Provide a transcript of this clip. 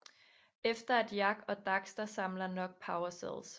Efter at Jak og Daxter samler nok Power Cells